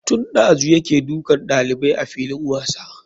Tun ɗazu yake dukan ɗalibai a filin wasa.